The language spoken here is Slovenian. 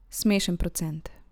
Smešen procent.